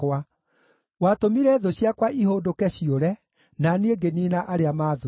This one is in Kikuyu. Watũmire thũ ciakwa ihũndũke ciũre, na niĩ ngĩniina arĩa maathũire.